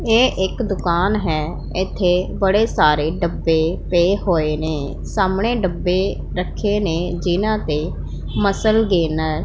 ਇਹ ਇੱਕ ਦੁਕਾਨ ਹੈ ਇੱਥੇ ਬੜੇ ਸਾਰੇ ਡੱਬੇ ਪਏ ਹੋਏ ਨੇਂ ਸਾਹਮਣੇ ਡੱਬੇ ਰੱਖੇ ਨੇਂ ਜਿਹਾਂ ਤੇ ਮਸਲ ਗੈਨਰ --